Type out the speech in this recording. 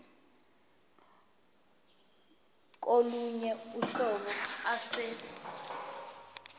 kolunye uhlobo ase